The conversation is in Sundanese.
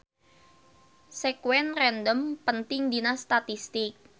Sekuen random penting dina statistik.